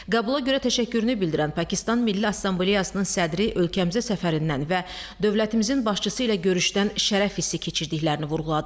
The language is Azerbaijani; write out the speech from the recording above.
Qəbula görə təşəkkürünü bildirən Pakistan Milli Assambleyasının sədri ölkəmizə səfərindən və dövlətimizin başçısı ilə görüşdən şərəf hissi keçirdiklərini vurğuladı.